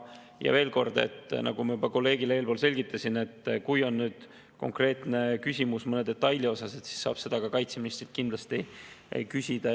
Ja veel kord, nagu ma juba teie kolleegile enne selgitasin: kui on konkreetne küsimus mõne detaili kohta, siis seda saab kaitseministrilt kindlasti küsida.